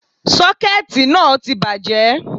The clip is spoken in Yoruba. Sọ́kẹ̀tì náà tí bàjẹ́